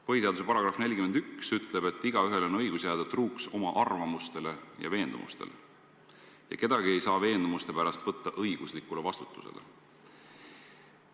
Põhiseaduse § 41 ütleb, et igaühel on õigus jääda truuks oma arvamustele ja veendumustele ja kedagi ei saa veendumuste pärast võtta õiguslikule vastutusele.